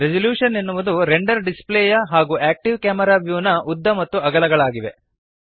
resolution ಎನ್ನುವುದು render display ಯ ಹಾಗೂ ಆಕ್ಟಿವ್ ಕ್ಯಾಮೆರಾ ವ್ಯೂ ನ ಉದ್ದ ಮತ್ತು ಅಗಲಗಳಾಗಿದೆ